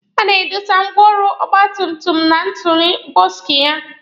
A na-adọsa ngwaọrụ ọgba tum tum na tuulu bọksụ ya.